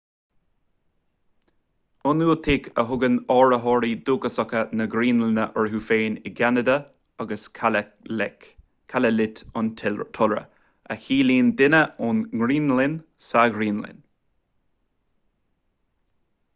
ionúitigh a thugann áitritheoirí dúchasacha na graonlainne orthu féin i gceanada agus kalaalleq kalaallit an t-iolra a chiallaíonn duine ón ngraonlainn sa ghraonlainn